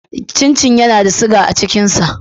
Cin cin yana da siga a cikin sa.